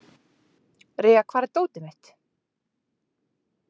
Rea, hvar er dótið mitt?